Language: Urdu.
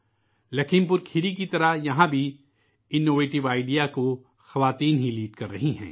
لکھیم پور کھیری کی طرح یہاں بھی اس اختراعی نظریے کی خواتین ہی قیادت کررہی ہیں